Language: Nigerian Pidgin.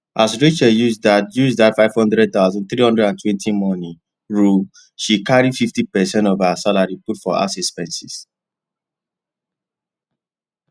as rachel use that use that five hundred thousand three hundred and twenty money rule she carry fifty percent of her salary put for house expenses